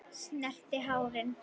Snerti hárin.